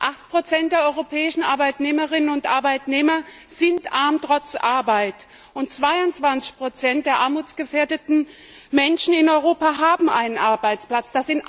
8 der europäischen Arbeitnehmerinnen und Arbeitnehmer sind arm trotz Arbeit, und 22 der armutsgefährdeten Menschen in Europa haben einen Arbeitsplatz.